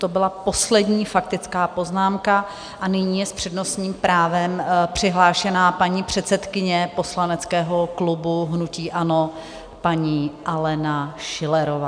To byla poslední faktická poznámka a nyní je s přednostním právem přihlášena paní předsedkyně poslaneckého klubu hnutí ANO, paní Alena Schillerová.